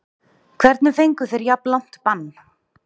Hvernig fengu þeir jafn langt bann?